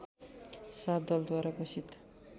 सात दलद्वारा घोषित